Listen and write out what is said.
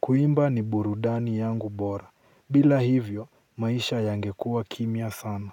Kuimba ni burudani yangu bora. Bila hivyo maisha yangekuwa kimya sana.